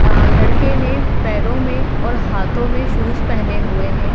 आ लड़के ने पैरों में और हाथों में शूज पहेने हुए हैं।